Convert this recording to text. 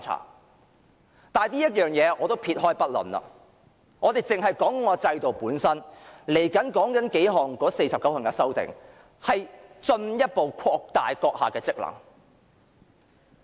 不過，這一點我暫且撇開不談，我只是討論制度本身的問題，就是這49項修訂將進一步擴大主席的職權。